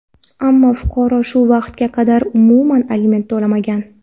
Ammo fuqaro shu vaqtga qadar umuman aliment to‘lamagan.